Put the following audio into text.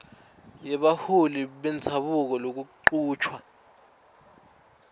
yebaholi bendzabuko kulokuchutjwa